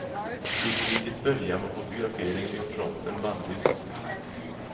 Vid krigets början var fotografering vid fronten bannlyst.